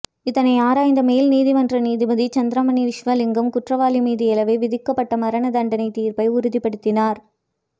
இதனை ஆராய்ந்த மேல் நீதிமன்ற நீதிபதி சந்திரமணி விஸ்வலிங்கம் குற்றவாளி மீது ஏலவே விதிக்கப்பட்ட மரண தண்டனை தீர்ப்பை உறுதிப்படுத்தினார்